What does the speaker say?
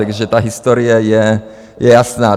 Takže ta historie je jasná.